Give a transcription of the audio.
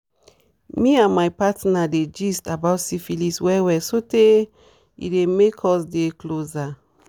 me and my partner dey gist about syphilis well well sotey e dey make us dey closer